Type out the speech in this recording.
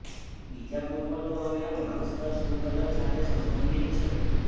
બીજા પુરવઠો અને માંગ સ્તર સંકલન સાથે સંબંધિત છે